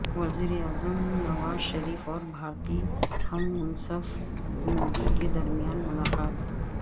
وزیراعظم نواز شریف اور بھارتی ہم منصب مودی کے درمیان ملاقات